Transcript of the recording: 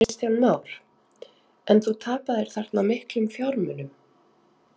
Kristján Már: En þú tapaðir þarna miklum fjármunum?